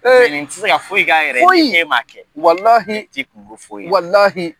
Nin tɛ se ka foyi k'a yɛrɛ ye k'e m'a kɛ